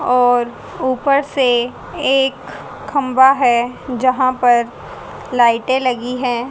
और ऊपर से एक खंभा है जहां पर लाइटें लगी हैं।